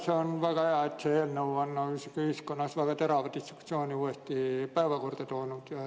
See on väga hea, et see eelnõu on ühiskonnas väga terava diskussiooni uuesti päevakorrale toonud.